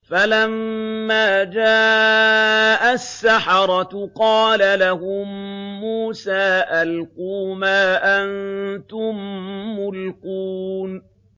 فَلَمَّا جَاءَ السَّحَرَةُ قَالَ لَهُم مُّوسَىٰ أَلْقُوا مَا أَنتُم مُّلْقُونَ